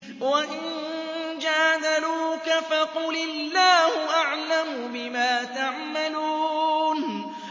وَإِن جَادَلُوكَ فَقُلِ اللَّهُ أَعْلَمُ بِمَا تَعْمَلُونَ